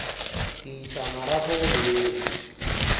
ke iša marapo go beng